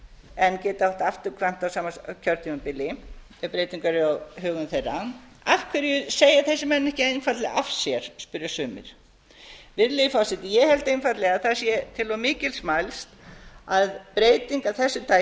en geta átt afturkvæmt á sama kjörtímabili ef breyting verður á högum þeirra af hverju segja þessir menn ekki einfaldlega af sér spyrja sumir virðulegi forseti ég held einfaldlega að það sé til of mikils mælst að breyting af þessu tagi